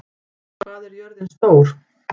Bambi, hvað er jörðin stór?